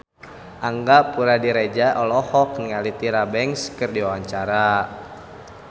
Angga Puradiredja olohok ningali Tyra Banks keur diwawancara